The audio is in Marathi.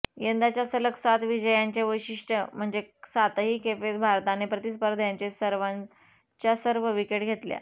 यंदाच्या सलग सात विजयांचे वैशिष्टय़ म्हणजे सातही खेपेस भारताने प्रतिस्पर्ध्याचे सर्वच्या सर्व विकेट घेतल्यात